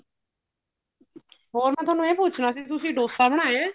ਹੋਰ ਮੈਂ ਥੋਨੂੰ ਇਹ ਪੁੱਛਣਾ ਸੀ ਤੁਸੀਂ dosa ਬਣਾਇਆ